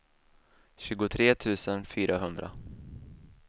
tjugotre tusen fyrahundra